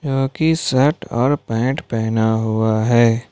जो कि शर्ट और पैंट पहना हुआ है।